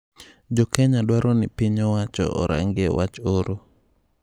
Jokenya dwaro ni piny owacho orangie wach oro.